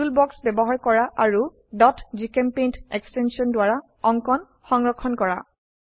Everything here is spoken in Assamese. টুল বাক্স ব্যবহাৰ কৰা আৰু gchempaint এক্সটেনশন দ্বাৰা অঙ্কন সংৰক্ষণ কৰা